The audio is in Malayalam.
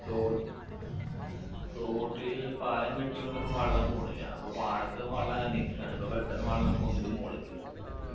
തോ തോട്ടില് പാലം കെട്ടിയൊണ്ട് ഇപ്പൊ വെള്ളം പോണില്ല അപ്പൊ പാടത്ത് വെള്ളങ്ങന നിക്കാണ് അപ്പൊ പെട്ടെന്ന് വെള്ളം പൊന്തും മോള്ക്ക്